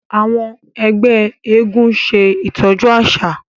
àwọn ẹgbẹ éégún ń ṣe itọju aṣa.